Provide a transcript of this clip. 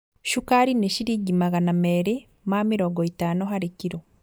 Cukari nĩ ciringi magana merĩ ma mĩrongo ĩtano harĩ kiro